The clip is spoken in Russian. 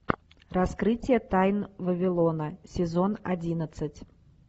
раскрытие тайн вавилона сезон одиннадцать